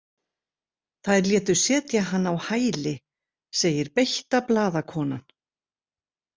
Þær létu setja hann á hæli, segir beitta blaðakonan.